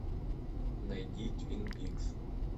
найди твин пикс